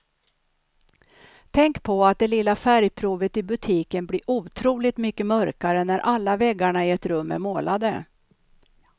Tänk på att det lilla färgprovet i butiken blir otroligt mycket mörkare när alla väggarna i ett rum är målade.